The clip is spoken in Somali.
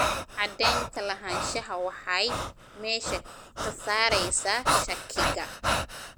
Cadaynta lahaanshaha waxay meesha ka saaraysaa shakiga.